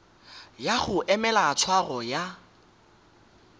ya go emela tshwaro ya